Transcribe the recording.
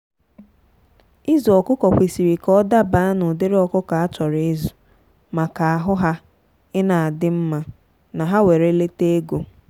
ịzụ ọkụkọ kwesịrị ka ọ dabaa na ụdịrị ọkụkọ a chọrọ ịzụ maka ahụ ha ina adị mma na ha were lete ego.